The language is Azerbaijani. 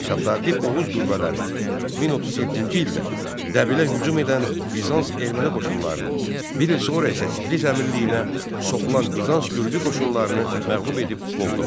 Şəddaddi Oğuz qüvvələri 1037-ci ildə Dəbilə hücum edən Bizans Erməni qoşunlarını, bir il sonra isə Tiflis Əmirliyinə soxulan Bizans Gürcü qoşunlarını məğlub edib qovdular.